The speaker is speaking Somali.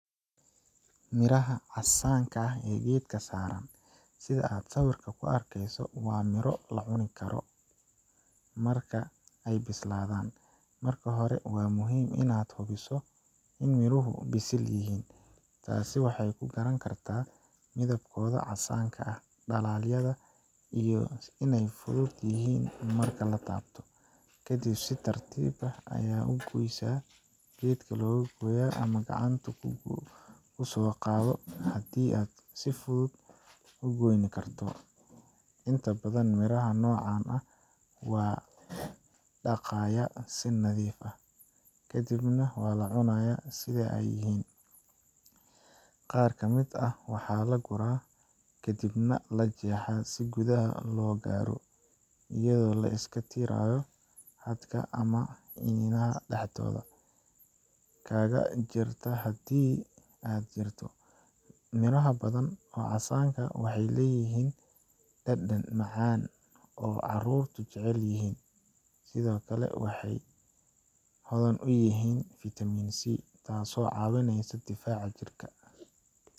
Miraha casaanka ah ee geedka saaran, sida aad sawirka ku arkayso, waa miro la cuni karo marka ay bislaadaan. Marka hore, waa muhiim in aad hubiso in miruhu bisil yihiin taas waxaad ku garan kartaa midabkooda casaanka ah dhalaalyada iyo in ay fudud yihiin marka la taabto. Ka dib, si tartiib ah u gooysa geedka loga goyaa ama gacanta ku soo qaado haddii uu si fudud u goyni karto. Inta badan miraha noocan ah waa la dhaqaayaa si nadiif ah, kadibna waa la cunaa sida ay yihiin. Qaar ka mid ah, waxaa la guraa kaddibna la jeexaa si gudaha looga gaaro, iyadoo la iska tirayo hadhka ama iniinta dhexdooda kaga jirta haddii ay jirto. Miro ha badan oo cas waxay leeyihiin dhadhan macaan oo caruurtu jecel yihiin, sidoo kale waxay hodan ku yihiin fitamiin C, taasoo caawisa difaaca jirka.